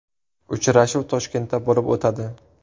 Uchrashuv Toshkentda bo‘lib o‘tadi.